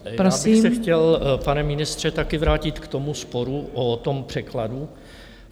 Já bych se chtěl, pane ministře, také vrátit k tomu sporu o tom překladu.